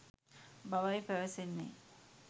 බවයි පැවසෙන්නේ.